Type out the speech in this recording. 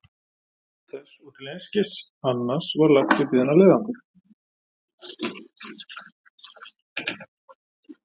Til þess og til einskis annars var lagt upp í þennan leiðangur.